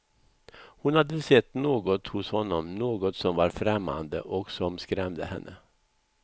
Hon hade sett något hos honom, något som var främmande och som skrämde henne.